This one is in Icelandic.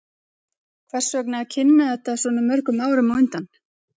Hvers vegna að kynna þetta svona mörgum árum á undan?